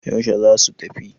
yaushe za su tafi?